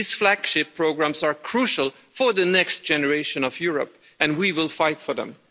These flagship programmes are crucial for the next generation of Europe and we will fight for them.